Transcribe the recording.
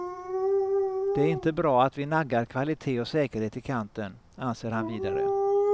Det är inte bra att vi naggar kvalité och säkerhet i kanten, anser han vidare.